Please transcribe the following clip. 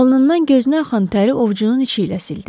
Alnından gözünə axan təri ovcunun içi ilə sildi.